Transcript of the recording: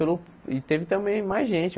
Pelo e teve também mais gente.